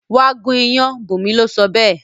Wá gún iyán! Bunmi lo sọ béè